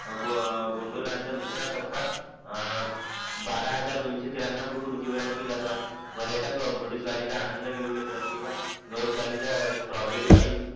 गोंढोलांचा दुसरा टपा अं बाराहजार दोनशे फूट उंचीवर है जातो आणि पर्यटक घोडेस्वारीचा आनंद घेऊ शकतात किंवा गोवंशहलीचं स्टोबेरी